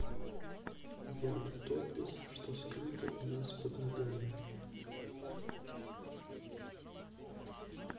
ян топлес что скрыто у нас под ногами